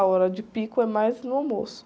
A hora de pico é mais no almoço.